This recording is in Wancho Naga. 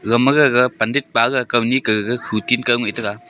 gagma gag pundit pa gag kauni kah gag khu tinkoh ngai taga.